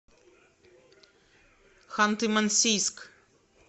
ханты мансийск